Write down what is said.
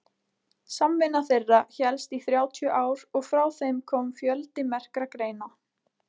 samvinna þeirra hélst í þrjátíu ár og frá þeim kom fjöldi merkra greina